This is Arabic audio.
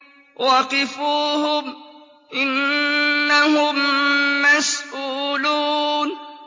وَقِفُوهُمْ ۖ إِنَّهُم مَّسْئُولُونَ